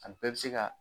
A bɛɛ bɛ se ka